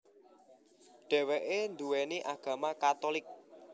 Dheweke nduweni agama Katulik